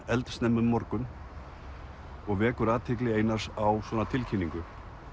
eldsnemma um morgun og vekur athygli Einars á svona tilkynningu